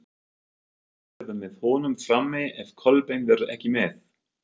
Hver verður með honum frammi ef Kolbeinn verður ekki með?